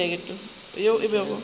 yo a sa bago a